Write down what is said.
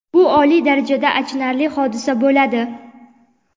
bu oliy darajada achinarli hodisa bo‘ladi.